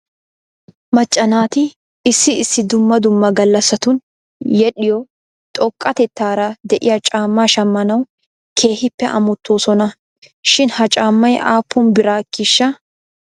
Macca naati issi issi dumma dumma galassatun yedhdhiyoo xoqqatetaara de'iyaa caammaa shammanaw keehippe amottoosona shin he caammay aappun biraa ekkiishsha?